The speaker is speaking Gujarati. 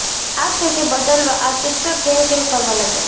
આ સ્થિતિ બદલવા આ શિક્ષક ઘેર ઘેર ફરવા લાગ્યા